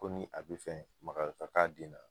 Ko ni a be fɛ maga k'a k'a den na